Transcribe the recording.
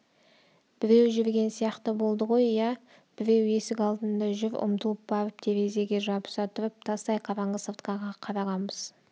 біреу жүрген сияқты болды ғой иә біреу есік алдында жүр ұмтылып барып терезеге жабыса тұрып тастай қараңғы сыртқа қарағанбыз